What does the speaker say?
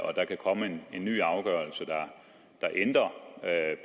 og der kan komme en ny afgørelse der ændrer